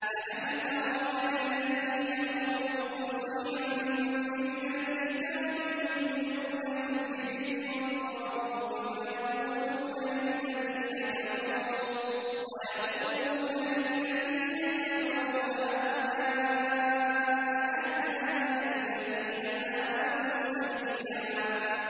أَلَمْ تَرَ إِلَى الَّذِينَ أُوتُوا نَصِيبًا مِّنَ الْكِتَابِ يُؤْمِنُونَ بِالْجِبْتِ وَالطَّاغُوتِ وَيَقُولُونَ لِلَّذِينَ كَفَرُوا هَٰؤُلَاءِ أَهْدَىٰ مِنَ الَّذِينَ آمَنُوا سَبِيلًا